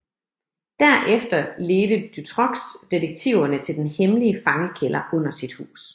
Derefter ledte Dutroux detektiverne til den hemmelige fangekælder under sit hus